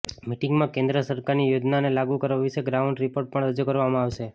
મીટિંગમાં કેન્દ્ર સરકારની યોજનાઓને લાગુ કરવા વિશે ગ્રાઉન્ડ રિપોર્ટ પણ રજૂ કરવામાં આવશે